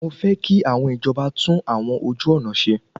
Mọ fẹ́ kí àwọn ìjọba tún àwọn ojú ọ̀nà ṣe.